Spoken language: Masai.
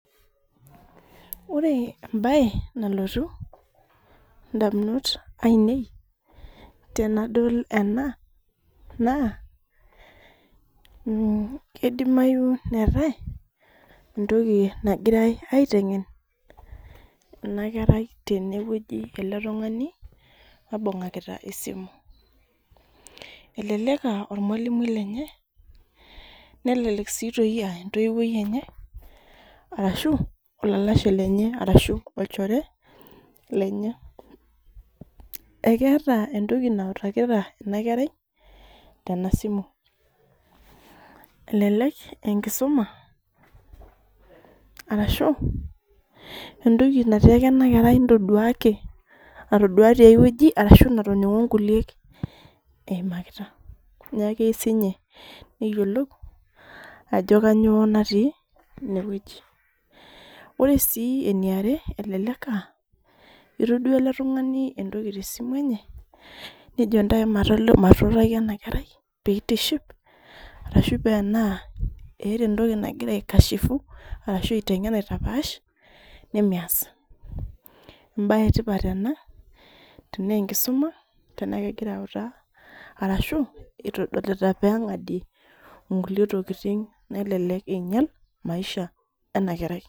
Ore embae nalotu ndamunot ainei tanadol ena na kidimayu neetae entoki nagirai aitengen ebakerai eletungani oibungakita esimu eleek aa ormalimui lemye nelelk aa entoiwuoi enye ashu olalalashe lenye arashu olchore lenye ekeeta entoki nautakita enakerai tenasimu elelek aa enkisuma arashu entoki natiaka enakerei ntaduaki natadua tia wueji ashu natoningo eimakita neaku keyieu sinye neyiolou ajo kanyio natii inewueji ore si eniare elelek aa etaduo ele tumganu entoki tesimu enye nejo ntasho matuutaki enakerai peituship arashu oaa ena keera entoki nagira aikashifu ashu amegira aitapaaash nemeas embae etipat ena tanaa enkisuma egira autaa arashu itadolita pengadie nkukie tokitin nelelek inyal maisha enakerai.